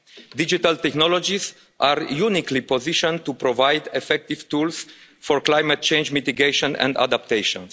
Digital technologies are uniquely positioned to provide effective tools for climate change mitigation and adaptation.